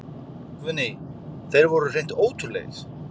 Guðný: Þeir voru hreint ótrúlegir?